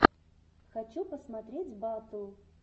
хочу посмотреть батл